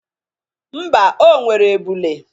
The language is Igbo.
Mba, o nwere ebụlu.